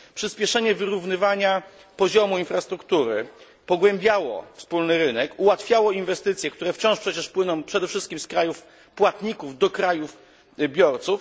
Przyspieszenie wyrównywania poziomu infrastruktury pogłębiało wspólny rynek, ułatwiało inwestycje, które wciąż przecież płyną przede wszystkim z krajów płatników do krajów biorców.